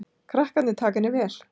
Krakkarnir taka henni vel.